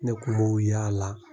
Ne kun m'o y'ala